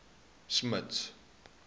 smuts